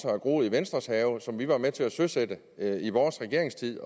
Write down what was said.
groet i venstres have og som vi var med til at søsætte i vores regeringstid